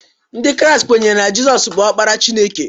Ndị Kraịst kwenyere na Jesu bụ Ọkpara Chineke